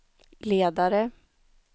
ledare